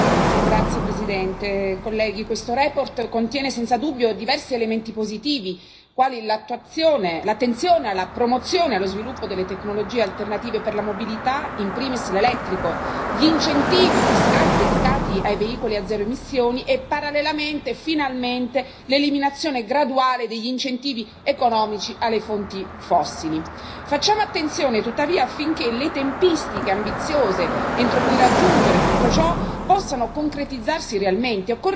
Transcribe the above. Signor Presidente, onorevoli colleghi, questa relazione contiene senza dubbio diversi elementi positivi, quali l'attenzione alla promozione e allo sviluppo delle tecnologie alternative per la mobilità, in primis l'elettrico, gli incentivi fiscali dedicati ai veicoli a zero emissioni e, parallelamente, finalmente, l'eliminazione graduale degli incentivi economici alle fonti fossili. Facciamo attenzione, tuttavia, affinché le tempistiche ambiziose entro cui raggiungere tutto ciò possano concretizzarsi realmente.